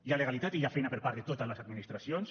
hi ha legalitat i hi ha feina per part de totes les administracions